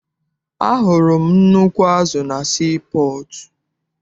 Ahụrụ m nnukwu azụ na sii pọọtụ.